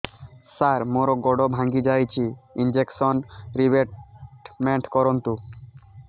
ସାର ମୋର ଗୋଡ ଭାଙ୍ଗି ଯାଇଛି ଇନ୍ସୁରେନ୍ସ ରିବେଟମେଣ୍ଟ କରୁନ୍ତୁ